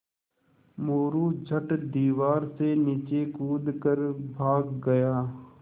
मोरू झट दीवार से नीचे कूद कर भाग गया